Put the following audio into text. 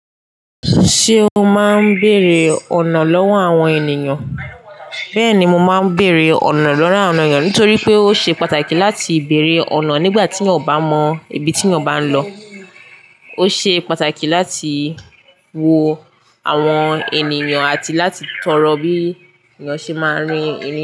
Ṣé o máa ń bèèrè ọ̀nà lọ́wọ́ àwọn ènìyàn? Bẹ́ẹ̀ni, mo máa ń bèèrè ọ̀nà lọ́wọ́ àwọn ènìyàn nítorí pé ó ṣe pàtàkì láti bèèrè ọ̀nà nígbà tí eyàn ò bá mọ ibi tí eyàn bá ń lọ. Ó ṣe pàtàkì láti wo àwọn ènìyàn àti láti tọrọ bí èèyàn ṣe máa ń rin irin.